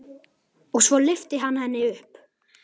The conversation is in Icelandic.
Og svo lyfti hann henni upp.